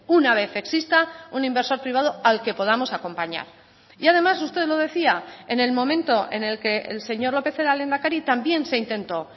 una vez exista un inversor privado al que podamos acompañar y además usted lo decía en el momento en el que el señor lópez era lehendakari también se intentó